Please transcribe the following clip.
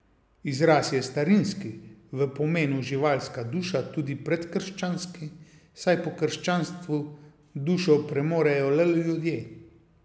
Izraz je starinski, v pomenu živalska duša tudi predkrščanski, saj po krščanstvu dušo premorejo le ljudje.